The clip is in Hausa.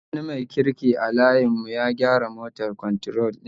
Wani mai kirki a layin mu ya gyara moto kwantrol din